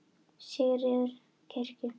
Sigríður fór til kirkju.